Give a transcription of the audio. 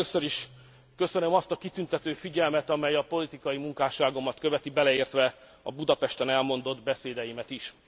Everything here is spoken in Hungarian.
Először is köszönöm azt a kitüntető figyelmet, amely a politikai munkásságomat követi, beleértve a Budapesten elmondott beszédeimet is.